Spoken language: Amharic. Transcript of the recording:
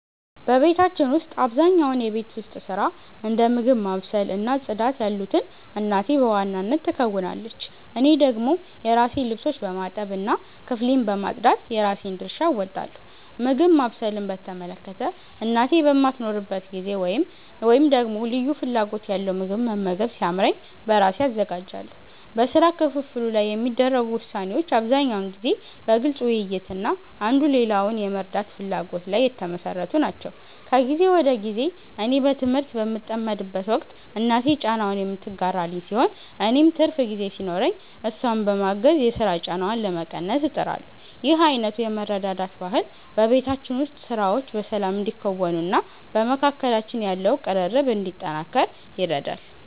በቤታችን ውስጥ አብዛኛውን የቤት ውስጥ ሥራ፣ እንደ ምግብ ማብሰል እና ጽዳት ያሉትን እናቴ በዋናነት ትከውናለች። እኔ ደግሞ የራሴን ልብሶች በማጠብ እና ክፍሌን በማጽዳት የራሴን ድርሻ እወጣለሁ። ምግብ ማብሰልን በተመለከተ፣ እናቴ በማትኖርበት ጊዜ ወይም ደግሞ ልዩ ፍላጎት ያለው ምግብ መመገብ ሲያምረኝ በራሴ አዘጋጃለሁ። በሥራ ክፍፍሉ ላይ የሚደረጉ ውሳኔዎች አብዛኛውን ጊዜ በግልጽ ውይይት እና አንዱ ሌላውን የመርዳት ፍላጎት ላይ የተመሠረቱ ናቸው። ከጊዜ ወደ ጊዜ እኔ በትምህርት በምጠመድበት ወቅት እናቴ ጫናውን የምትጋራልኝ ሲሆን፣ እኔም ትርፍ ጊዜ ሲኖረኝ እሷን በማገዝ የሥራ ጫናዋን ለመቀነስ እጥራለሁ። ይህ አይነቱ የመረዳዳት ባህል በቤታችን ውስጥ ሥራዎች በሰላም እንዲከናወኑና በመካከላችን ያለው ቅርርብ እንዲጠናከር ይረዳል።